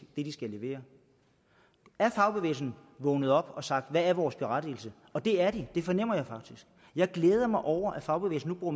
skal levere er fagbevægelsen vågnet op og har sagt hvad er vores berettigelse det er de det fornemmer jeg faktisk jeg glæder mig over at fagbevægelsen nu